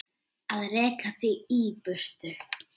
Að reka þig í burtu!